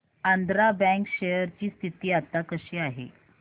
Andhra bank share ची स्थिती आता कशी आहे